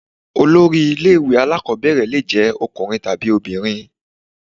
Head of a Primary school may be male or female.